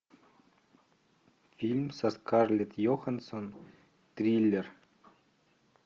фильм со скарлетт йоханссон триллер